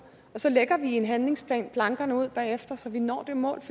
og så lægger vi en handlingsplan bagefter så vi når det mål det